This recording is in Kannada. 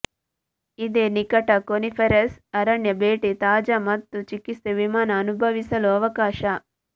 ಇದೆ ನಿಕಟ ಕೋನಿಫೆರಸ್ ಅರಣ್ಯ ಭೇಟಿ ತಾಜಾ ಮತ್ತು ಚಿಕಿತ್ಸೆ ವಿಮಾನ ಅನುಭವಿಸಲು ಅವಕಾಶ